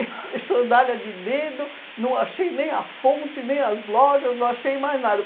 E s e sandália de dedo, não achei nem a fonte, nem as lojas, não achei mais nada.